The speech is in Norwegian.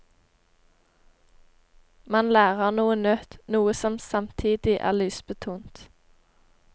Man lærer noe nytt, noe som samtidig er lystbetont.